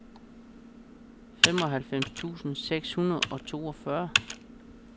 femoghalvfems tusind seks hundrede og toogfyrre